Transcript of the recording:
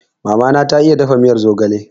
Mama na ta iya dafa miyar zogale